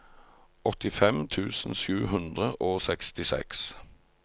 åttifem tusen sju hundre og sekstiseks